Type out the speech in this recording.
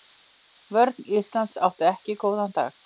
Vörn Íslands átti ekki góðan dag.